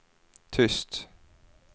tyst